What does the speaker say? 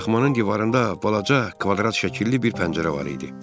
Daxmanın divarında balaca kvadrat şəkilli bir pəncərə var idi.